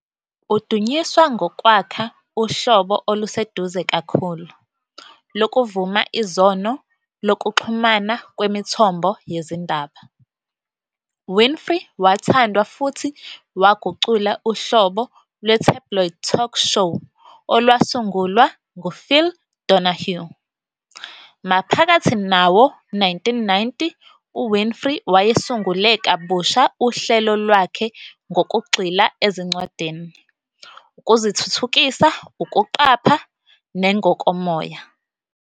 Udunyiswa ngokwakha uhlobo oluseduze kakhulu, lokuvuma izono lokuxhumana kwemithombo yezindaba, Winfrey wathandwa futhi wagucula uhlobo lwe-"tabloid talk show" olwasungulwa nguPhil Donahue. Maphakathi nawo-1990, uWinfrey wayesungule kabusha uhlelo lwakhe ngokugxila ezincwadini, ukuzithuthukisa, ukuqapha, nengokomoya.